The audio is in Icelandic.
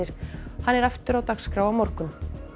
hann er aftur á dagskrá á morgun